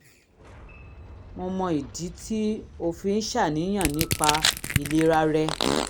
mo mọ ìdí tí o fi ń ṣàníyàn nípa ìlera rẹ